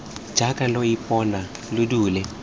jaaka lo ipona lo dule